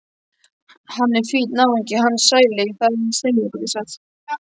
Hann er fínn náungi hann Sæli, það segirðu satt.